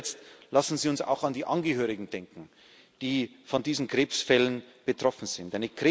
Zu guter Letzt Lassen Sie uns auch an die Angehörigen denken, die von diesen Krebsfällen betroffen sind.